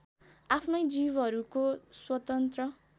आफ्नै जीवहरूको स्वतन्त्र